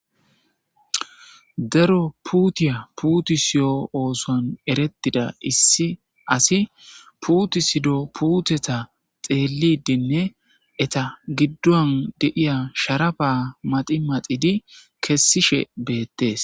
Daro puutiya puuti siyo ooson erettida issi asi puuti sido puuteta xeelidinne eta giddon deiya sharaba maxi maxidi kessishe beettees.